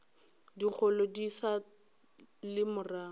dikgolo di sa le morago